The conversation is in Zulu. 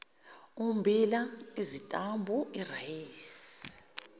ummbila isitambu irayisi